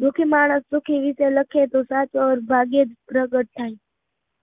દુઃખી માણસ દુઃખી રીતે લખે તો સાથય ભાગ્ય પ્રગટ થાય,